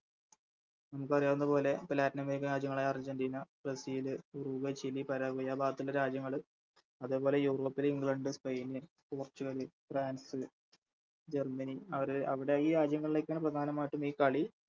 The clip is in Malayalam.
നമുക്കറിയാവുന്നത് പോലെ ഇപ്പൊ Latin american രാജ്യങ്ങളായ അർജെന്റിന ബ്രസീല് ഉറുഗ്വ ചിലി ആ ഭാഗത്തുള്ള രാജ്യങ്ങള് അതേപോലെ യൂറോപ്പിലെ England Spain Portugal France Germany അവര് അവിടെയി രാജ്യങ്ങളിലേക്കാണ് പ്രധാനമായിട്ടും ഈ കളി